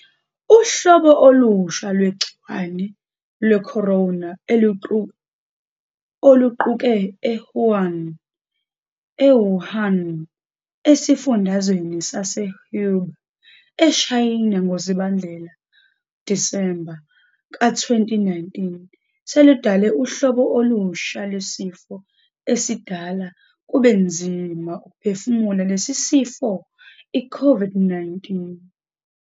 Uhlobo olusha lwegciwane lwekhorona oluquuke e- Wuhan, esifundazweni sase-Hubei, eShayina ngoZibandlela, Disemba, ka-2019 seludale uhlobo olusha lwesifo esidala kube nzima ukuphefumula lesi sifo i-COVID-19.